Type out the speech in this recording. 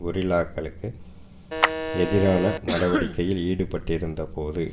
கொரில்லாக்களுக்கு எதிரான நடவடிக்கையில் ஈடுபட்டிருந்த போது